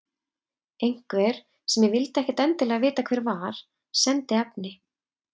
Einhver, sem ég vildi ekkert endilega vita hver var, sendi efni.